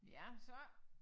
Ja så